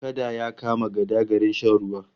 Kada ya kama gada garin shan ruwa